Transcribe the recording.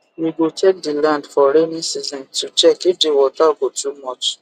we go check the land for raining season to check if the water go too much